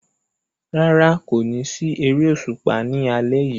Rárá, kò ní sí eré òṣùpá ní alẹ́ yìí